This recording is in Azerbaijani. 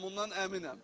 Mən bundan əminəm.